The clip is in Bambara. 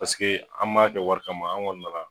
Paseke an m'a kɛ wari kama an kɔni nana